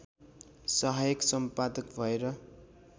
सहायक सम्पादक भएर